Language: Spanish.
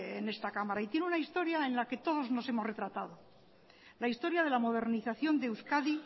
en esta cámara y tiene una historia en la que todos nos hemos retratado la historia de la modernización de euskadi